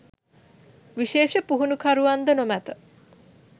විශේෂ පුහුණුකරුවන්ද නොමැත